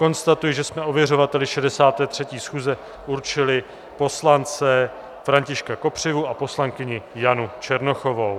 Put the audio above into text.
Konstatuji, že jsme ověřovateli 63. schůze určili poslance Františka Kopřivu a poslankyni Janu Černochovou.